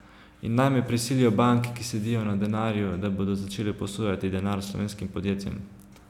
In naj prisilijo banke, ki sedijo na denarju, da bodo začele posojati denar slovenskim podjetjem.